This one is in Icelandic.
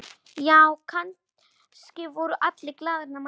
Já, kannski voru allir glaðir nema ég.